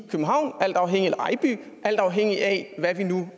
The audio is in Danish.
ejby alt afhængig af hvad vi nu